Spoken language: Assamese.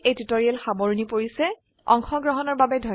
ইয়াতে এই টিউটৰীয়েল সামৰনি পৰিছে অংশগ্ৰহনৰ বাবে ধন্যবাদ